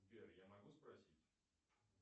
сбер я могу спросить